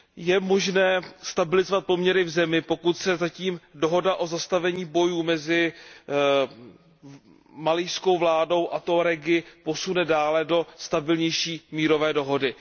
Je možné stabilizovat poměry v zemi, pokud se dohoda o zastavení bojů mezi malijskou vládou a Tuaregy posune dále do stabilnější mírové dohody.